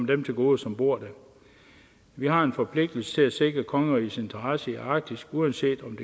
dem til gode som bor der vi har en forpligtelse til at sikre kongerigets interesser i arktis uanset om